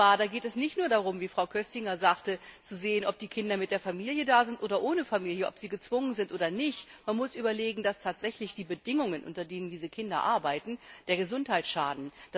Und zwar geht es nicht nur darum wie Frau Köstinger sagte zu sehen, ob die Kinder mit der Familie oder ohne Familie da sind, ob sie gezwungen sind oder nicht, sondern man muss sich dessen bewusst sein, dass tatsächlich die Bedingungen, unter denen diese Kinder arbeiten, der Gesundheit schaden.